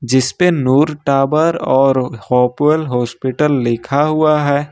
जिस पर नूर टावर और हॉप्वेल हॉस्पिटल लिखा हुआ है।